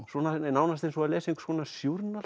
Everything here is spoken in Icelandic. nánast eins og lesa